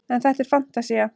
en þetta er fantasía